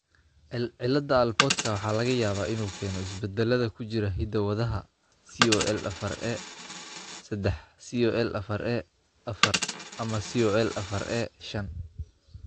Cilada Alportka waxaa laga yaabaa inuu keeno isbeddellada ku jira hidda-wadaha COL afar A sedex , COL afar A afar, ama COL afarA shan.